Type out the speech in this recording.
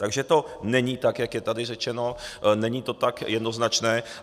Takže to není tak, jak je tady řečeno, není to tak jednoznačné.